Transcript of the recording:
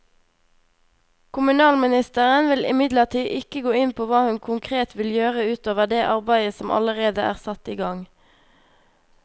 Kommunalministeren vil imidlertid ikke gå inn på hva hun konkret vil gjøre ut over det arbeidet som allerede er satt i gang.